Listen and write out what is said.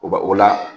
O ba o la